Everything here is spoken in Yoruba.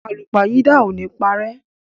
Àlúpàyídà o ni parẹ́.